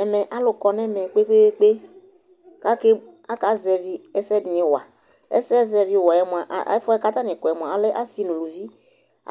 Ɛmɛ, alʋ kɔ nʋ ɛmɛ kpe-kpe-kpe kʋ akeb akazɛvɩ ɛsɛ dɩnɩ wa Ɛsɛzɛvɩwa yɛ mʋa, ɛfʋ yɛ kʋ atanɩ kɔ yɛ mʋa, a alɛ asɩ nʋ uluvi